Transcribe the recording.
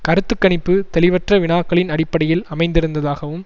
கருத்து கணிப்பு தெளிவற்ற வினாக்களின் அடிப்படையில் அமைந்திருந்ததாகவும்